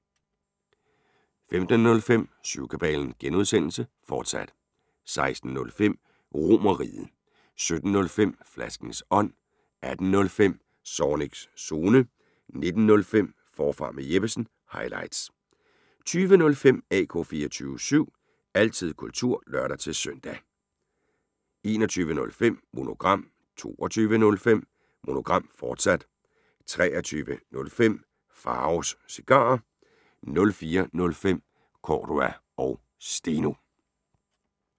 15:05: Syvkabalen (G), fortsat 16:05: RomerRiget 17:05: Flaskens ånd 18:05: Zornigs Zone 19:05: Forfra med Jeppesen – highlights 20:05: AK 24syv – altid kultur (lør-søn) 21:05: Monogram 22:05: Monogram, fortsat 23:05: Pharaos Cigarer 04:05: Cordua & Steno (G)